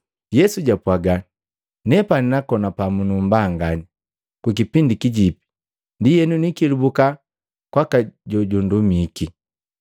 Yesu japwaaga, “Nepani nakona pamu numbanganya kukipindi kijipi ndienu nikelubuka kwaka jojundumiki.